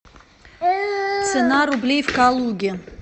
цена рублей в калуге